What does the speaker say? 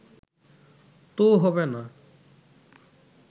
তো হবে না